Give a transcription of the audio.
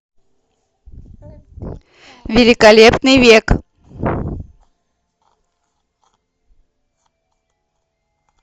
великолепный век